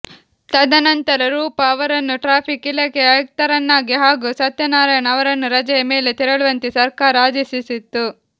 ತದ ನಂತರ ರೂಪ ಅವರನ್ನು ಟ್ರಾಫಿಕ್ ಇಲಾಖೆಯ ಆಯುಕ್ತರನ್ನಾಗಿ ಹಾಗೂ ಸತ್ಯನಾರಾಯಣ್ ಅವರನ್ನು ರಜೆಯ ಮೇಲೆ ತೆರಳುವಂತೆ ಸರ್ಕಾರ ಆದೇಶಿಸಿತ್ತು